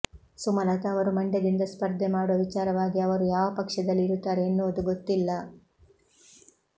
ಸುಮಲತಾ ಅವರು ಮಂಡ್ಯದಿಂದ ಸ್ಪರ್ಧೆ ಮಾಡುವ ವಿಚಾರವಾಗಿ ಅವರು ಯಾವ ಪಕ್ಷದಲ್ಲಿ ಇರುತ್ತಾರೆ ಎನ್ನುವುದು ಗೊತ್ತಿಲ್ಲ